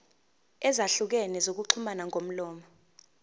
ezahlukene zokuxhumana ngomlomo